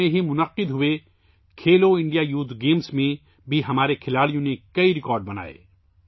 حال ہی میں منعقدہ کھیلو انڈیا یوتھ گیمز میں ہمارے کھلاڑیوں نے بھی کئی ریکارڈ بنائے